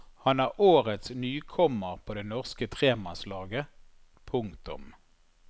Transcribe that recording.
Han er årets nykommer på det norske tremannslaget. punktum